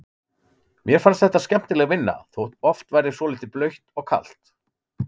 Mér fannst þetta skemmtileg vinna þótt oft væri svolítið blautt og kalt.